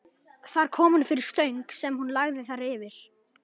Þar kom hún fyrir stöng sem hún lagði þær yfir.